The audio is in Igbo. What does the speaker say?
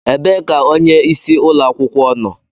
Ebee ka onyeisi ụlọ akwụkwọ nọ